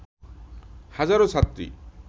হাজারো ছাত্রী